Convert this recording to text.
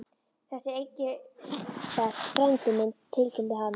Þetta er Engilbert frændi minn tilkynnti hann.